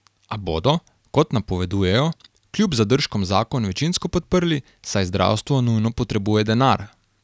A bodo, kot napovedujejo, kljub zadržkom zakon večinsko podprli, saj zdravstvo nujno potrebuje denar.